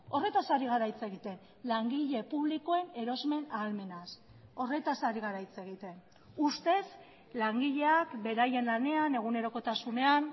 horretaz ari gara hitz egiten langile publikoen erosmen ahalmenaz horretaz ari gara hitz egiten ustez langileak beraien lanean egunerokotasunean